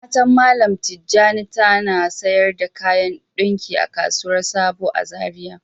Matan mallam tijani ta na sayar da kayan ɗunki a kasuwan sabo na zaria.